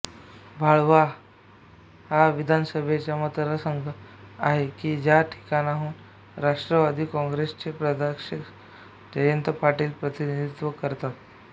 वाळवा हा विधानसभेचा मतदारसंघ आहे कि ज्या ठिकाणाहून राष्ट्रावादी कॉंग्रेसचे प्रदेशाध्यक्ष जयंत पाटील प्रतिनिधित्व करतात